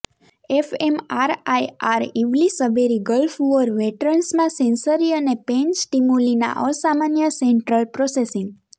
fMRI આર ઇવલીસ અબેરી ગલ્ફ વોર વેટરન્સમાં સેન્સરી અને પેઇન સ્ટિમુલીના અસામાન્ય સેન્ટ્રલ પ્રોસેસિંગ